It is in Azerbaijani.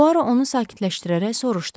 Puaro onu sakitləşdirərək soruşdu: